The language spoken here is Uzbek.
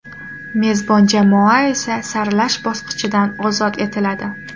Mezbon jamoa esa saralash bosqichidan ozod etiladi.